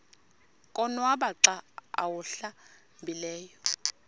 konwaba xa awuhlambileyo